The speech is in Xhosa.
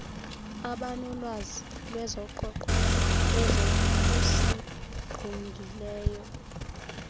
abanolwazi lwezoqoqosho ezokusingqongileyo